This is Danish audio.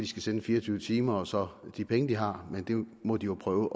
skal sende fire og tyve timer og så de penge de har men det må de jo prøve